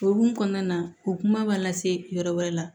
Okumu kɔnɔna na u kuma b'a lase yɔrɔ wɛrɛ la